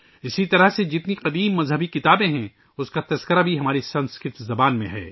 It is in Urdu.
اسی طرح جتنے قدیم دھرم شاستر ہیں، وہ بھی ہماری سنسکرت زبان میں ہیں